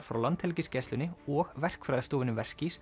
frá Landhelgisgæslunni og verkfræðistofunni